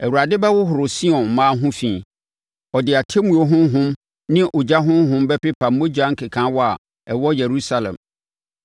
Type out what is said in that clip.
Awurade bɛhohoro Sion mmaa ho fi; ɔde atemmuo honhom ne ogya honhom bɛpepa mogya nkekaawa a ɛwɔ Yerusalem.